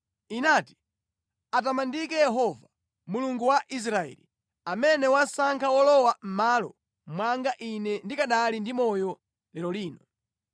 inati, ‘Atamandike Yehova, Mulungu wa Israeli, amene wasankha wolowa mʼmalo mwanga ine ndikanali ndi moyo lero lino.’ ”